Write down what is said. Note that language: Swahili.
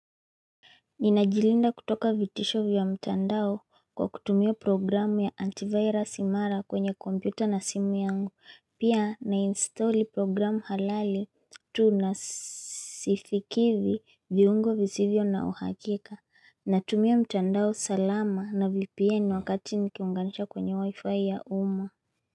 Ninajilinda kutoka vitisho vya mtandao kwa kutumia programu ya antivirus imara kwenye kompyuta na simu yangu. Pia na install programu halali tunasifikivi viungo vizivyo na uhakika. Natumio mtandao salama na VPN wakati nikiunganisha kwenye wifi ya uma.